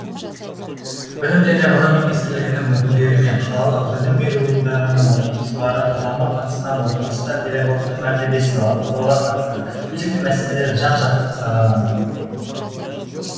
білім және ғылым министрлігінің өкілдері мен қалалық білім беру ұйымдарының оқытушылар құрамы қатысқан отырыста педагогтың мәртебесін арттыруға қатысты өзекті мәселелер жан жақты сараланды